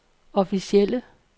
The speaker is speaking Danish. officielle